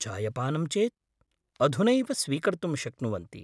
चायपानं चेत् अधुनैव स्वीकर्तुं शक्नुवन्ति।